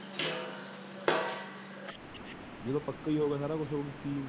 ਜਦੋ ਪੱਕਾ ਈ ਹੋ ਗਿਆ ਸਾਰਾ ਕੁਛ ਹੁਣ।